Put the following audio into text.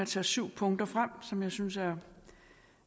tage syv punkter frem som jeg synes er